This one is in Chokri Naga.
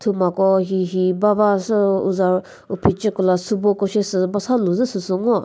mako hihi bavasü uza uphecheko la sübo ko she sü basalu zü süsü ngo.